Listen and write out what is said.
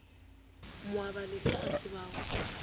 moabalefa a se ba go